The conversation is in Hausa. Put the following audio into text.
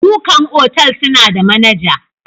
Ɗukan otal suna da manaja.